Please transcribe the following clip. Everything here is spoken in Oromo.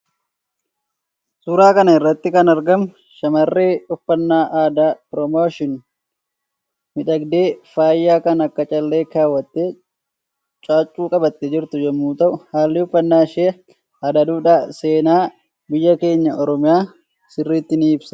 Suuraa kanarratti kan argamu shamarree uffannaa aadaa promotion miidhagdee faaya kan akka callee kaawwatte caaccuu qabatte jirtu yommuu ta'u haalli uffannaa ishee aada dhuudha seena biyya keenyaa oromiya sirritti ni ibsa.